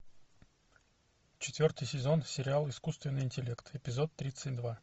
четвертый сезон сериала искусственный интеллект эпизод тридцать два